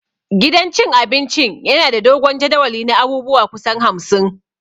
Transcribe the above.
Gidan cin abincin yana da dogon jadawali na abubuwa kusan hamsin